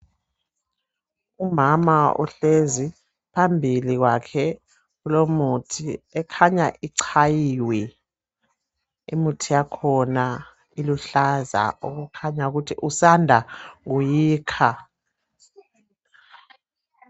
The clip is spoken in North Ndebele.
Umama uhlezi phambili kwakhe kulemithi ekhanya ichayiwe imithi yakhona iluhlaza okukhanya ukuthi usanda kuyikha.